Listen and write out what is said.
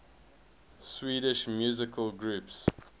swedish musical groups